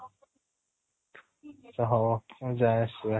ହଉ ଉ ଯା